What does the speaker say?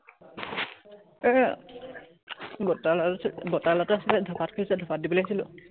এৰ বৰতাৰ লৰাটো আছে, বৰতাৰ আছিলে ধপাত খুজিছে, ধপাত দিবলে আহিছিলো।